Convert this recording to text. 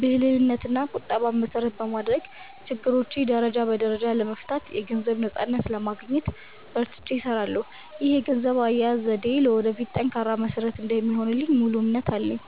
ብልህነትና ቁጠባን መሰረት በማድረግ፣ ችግሮቼን ደረጃ በደረጃ ለመፍታትና የገንዘብ ነፃነትን ለማግኘት በርትቼ እሰራለሁ። ይህ የገንዘብ አያያዝ ዘዴዬ ለወደፊቱ ጠንካራ መሰረት እንደሚሆንልኝ ሙሉ እምነት አለኝ።